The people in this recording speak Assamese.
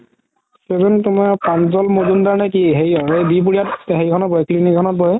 doctor জন তুমাৰ প্ৰান্জাল মাজুম্দাৰ নে কি হেৰিহৰ এই বি বাৰুৱা হেৰি খনত বহে clinic খনত বহে